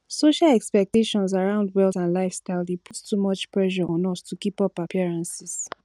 social expectations around wealth and lifestyle dey put too much pressure on us to keep up appearances